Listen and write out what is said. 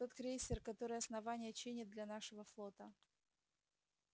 тот крейсер который основание чинит для нашего флота